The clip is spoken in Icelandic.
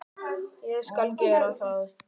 Ég skal gera það.